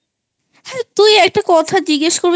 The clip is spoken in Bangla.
তুই একটা কথা জিজ্ঞেস করবি